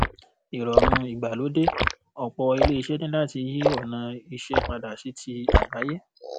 ìrọ̀rùn-ìgbàlódé: ọ̀pọ̀ iléeṣẹ́ níláti yí ọ̀nà iṣẹ́ padà sí ti àgbáyé.